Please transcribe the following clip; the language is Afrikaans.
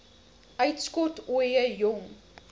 uitskot ooie jong